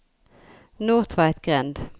Nordtveitgrend